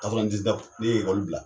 ne ye bila.